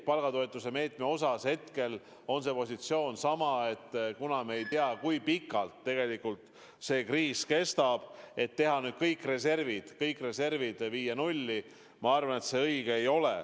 Palgatoetuse meetme osas on hetkel positsioon sama: me ei tea, kui pikalt see kriis kestab, ja ma arvan, et ei ole õige viia nüüd kõik reservid nulli.